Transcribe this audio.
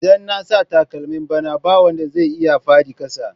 Idan na sa takalmi bana ba wada zan iya faɗi kasa.